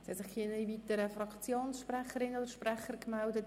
Es haben sich keine weiteren Fraktionssprecherinnen oder -sprecher gemeldet.